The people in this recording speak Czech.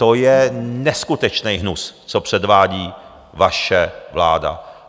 To je neskutečný hnus, co předvádí vaše vláda.